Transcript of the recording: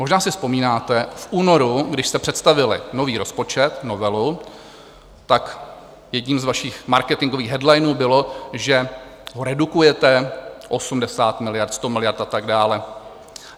Možná si vzpomínáte, v únoru, když jste představili nový rozpočet, novelu, tak jedním z vašich marketingových headlinů bylo, že ho redukujete - 80 miliard, 100 miliard a tak dále.